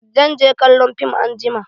Zan je kallon fim anjima.